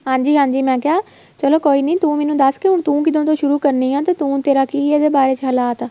ਹਾਂਜੀ ਹਾਂਜੀ ਮੈਂ ਕਿਹਾ ਚਲੋਂ ਕੋਈ ਨਹੀਂ ਤੂੰ ਮੈਨੂੰ ਦੱਸ ਹੁਣ ਤੂੰ ਕਿੱਦਣ ਤੋਂ ਸ਼ੁਰੂ ਕਰਨੀ ਆ ਤੇ ਤੂੰ ਤੇਰਾ ਕੀ ਇਹਦੇ ਬਾਰੇ ਚ ਹਲਾਤ ਆ